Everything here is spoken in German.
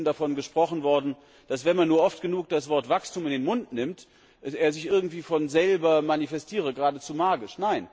Hier ist eben davon gesprochen worden, dass, wenn man nur oft genug das Wort Wachstum in den Mund nimmt, es sich irgendwie von selber manifestiere, geradezu magisch.